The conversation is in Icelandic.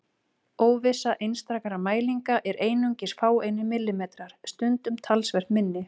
Óvissa einstakra mælinga er einungis fáeinir millimetrar, stundum talsvert minni.